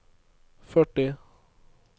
førti